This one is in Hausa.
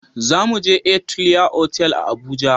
Za mu je Atelier otal a Abuja